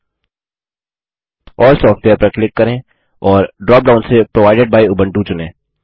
अल्ल software पर click करें और ड्रॉप डाउन से प्रोवाइडेड बाय उबुंटू चुनें